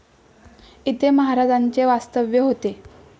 येथे महाराजांचे वास्तव्य होते.